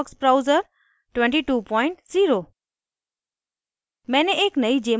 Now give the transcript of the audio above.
* mozilla firefox browser 220